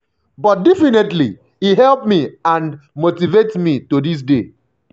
but definitely e help me and motivate me to dis day.